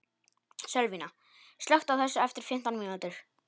Sölvína, slökktu á þessu eftir fimmtán mínútur.